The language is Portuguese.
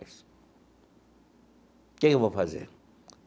Que que eu vou fazer?